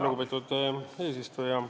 Lugupeetud eesistuja!